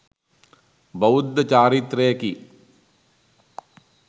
බෞද්ධ චරිත්‍රයකි.